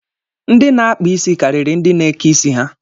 Ndị na-akpa isi karịrị ndị na-eke isi ha.